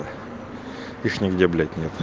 их нигде блять нет